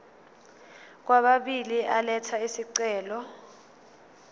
kwababili elatha isicelo